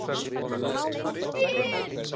Við erum til!